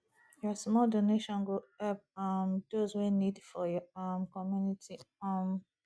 yur small donation go help um dose wey nid for yur um community um